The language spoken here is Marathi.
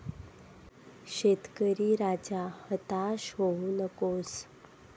शेतकरी राजा, हताश होऊ नकोस...